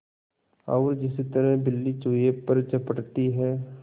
और जिस तरह बिल्ली चूहे पर झपटती है